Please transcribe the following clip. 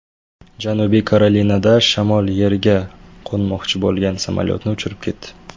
Janubiy Karolinada shamol yerga qo‘nmoqchi bo‘lgan samolyotni uchirib ketdi .